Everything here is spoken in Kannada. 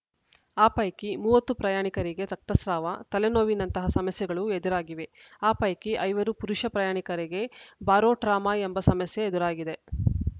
ಆ ಪೈಕಿ ಮೂವತ್ತು ಪ್ರಯಾಣಿಕರಿಗೆ ರಕ್ತಸ್ರಾವ ತಲೆನೋವಿನಂತಹ ಸಮಸ್ಯೆಗಳು ಎದುರಾಗಿವೆ ಆ ಪೈಕಿ ಐವರು ಪುರುಷ ಪ್ರಯಾಣಿಕರಿಗೆ ಬಾರೋಟ್ರಾಮಾ ಎಂಬ ಸಮಸ್ಯೆ ಎದುರಾಗಿದೆ